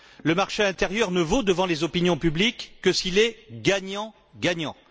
Le marché intérieur ne vaut, devant les opinions publiques, que s'il est gagnant gagnant.